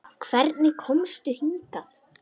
Hvernig komstu hingað?